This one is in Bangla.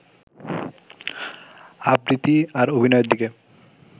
আবৃত্তি আর অভিনয়ের দিকে